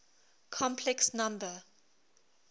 complex number